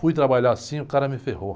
Fui trabalhar assim, e o cara me ferrou.